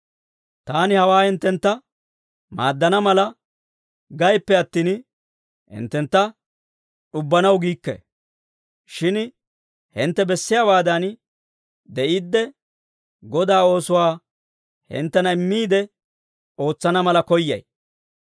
Taani hawaa hinttentta maaddana mala gayippe attin, hinttentta d'ubbanaw giikke. Shin hintte bessiyaawaadan de'iidde, Godaa oosuwaa hinttena immiide ootsana mala koyyay.